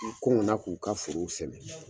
na k'u ka forow sɛnɛ.